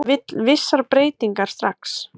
Vill vissar breytingar strax